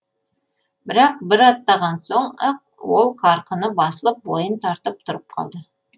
бірақ бір аттаған соң ақ ол қарқыны басылып бойын тартып тұрып қалды